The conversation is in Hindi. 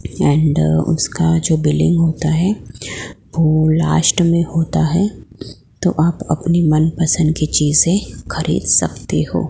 डिजाइन्ड उसका जो बिलिंग होता है वो लास्ट में होता है तो आप अपने मनपसंद की चीजें खरीद सकते हो।